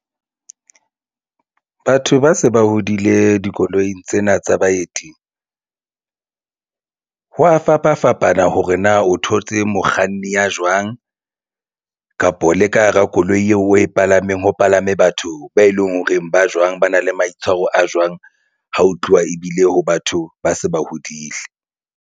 Batho ba se ba hodile dikoloing tsena tsa baeti ho a fapafapana hore na o thotse mokganni ya jwang kapo le ka hara koloi eo o e palameng ho palame batho be eleng ho reng ba jwang ba na le maitshwaro a jwang, ha ho tluwa ebile ho batho ba se ba hodile.